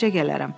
Mərcə gələrəm.